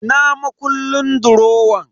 Ina makullin durowan?